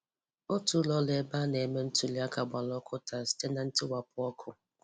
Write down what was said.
Otu ụlọ ọrụ ebe a na-eme ntuli aka gbara ọkụ taa site na ntiwapụ ọkụ.